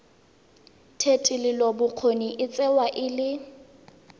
thetelelobokgoni e tsewa e le